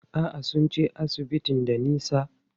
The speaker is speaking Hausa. A'a, sun ce asibitin da nisa.